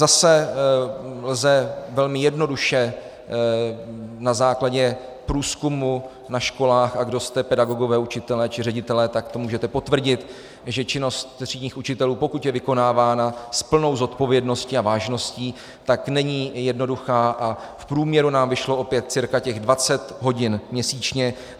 Zase lze velmi jednoduše na základě průzkumu na školách, a kdo jste pedagogové, učitelé či ředitelé, tak to můžete potvrdit, že činnost třídních učitelů, pokud je vykonávána s plnou zodpovědností a vážností, tak není jednoduchá, a v průměru nám vyšlo opět cirka těch 20 hodin měsíčně.